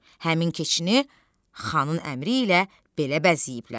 Həmin keçini xanın əmri ilə belə bəzəyiblər.